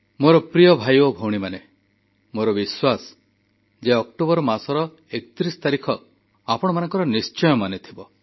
ମୋର ପ୍ରିୟ ଭାଇ ଓ ଭଉଣୀମାନେ ମୋର ବିଶ୍ୱାସ ଯେ ଅକ୍ଟୋବର ମାସର 31 ତାରିଖ ଆପଣମାନଙ୍କର ନିଶ୍ଚୟ ମନେଥିବ